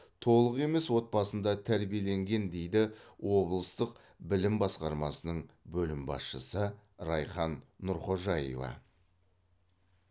толық емес отбасында тәрбиеленген дейді облыстық білім басқармасының бөлім басшысы райхан нұрқожаева